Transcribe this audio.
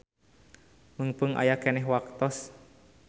Meungpeung aya keneh waktos.